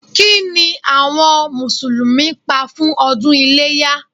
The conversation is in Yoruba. Kí ni àwọn Mùsùlùmí pa fún ọdún iléyá?